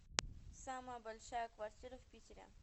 самая большая квартира в питере